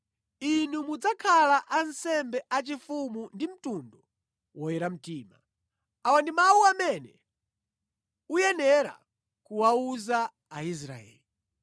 inu mudzakhala ansembe achifumu ndi mtundu woyera mtima. Awa ndi mawu amene uyenera kuwawuza Aisraeli.”